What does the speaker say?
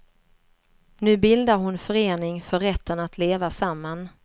Nu bildar hon förening för rätten att leva samman.